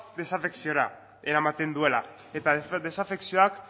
desafekziora eramaten duela eta desafekzioak